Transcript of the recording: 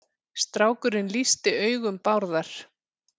Strákurinn lýsti augum Bárðar.